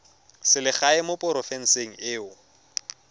selegae mo porofenseng e o